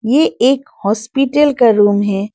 ये एक हॉस्पिटल का रूम है।